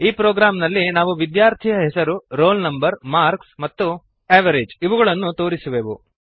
ಈ ಪ್ರೊಗ್ರಾಂನಲ್ಲಿ ನಾವು ವಿದ್ಯಾರ್ಥಿಯ ಹೆಸರು ರೋಲ್ ನಂ ಮಾರ್ಕ್ಸ್ ಮತ್ತು ಎವರೇಜ್ ಇವುಗಳನ್ನು ತೋರಿಸುವೆವು